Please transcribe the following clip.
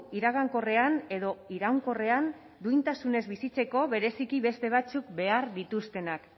iragankorrean edo iraunkorrean duintasunez bizitzeko bereziki beste batzuk behar dituztenak